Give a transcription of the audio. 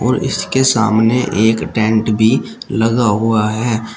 इसके सामने एक टेंट भी लगा हुआ है।